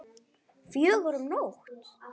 Fjögur um nótt?